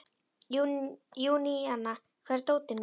Júníana, hvar er dótið mitt?